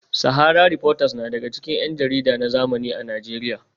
Sahara reporters na daga cikin yan jarida na zamani a Najeriya